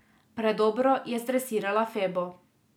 Predobro je zdresirala Febo.